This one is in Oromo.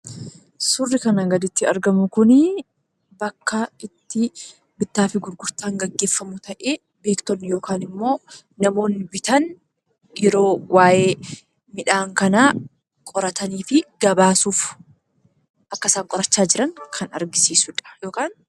Suurri kanaa gaditti argamu kunii bakka itti bittaafi gurgurtaanitti gaggeefamu ta'ee, beektonni yookaan ammoo namoonni yeroo waayee midhaan kanaa qorataniifi gabaasuuf akka isaan qorachaa jiran kan agarsiisudha.